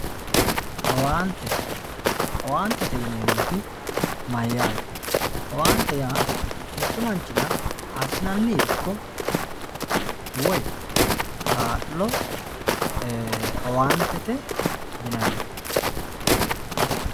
Owaante owaanyete yineemoti mayaate mittu manchira asinani irkko woyi kaalo owaantete yinani.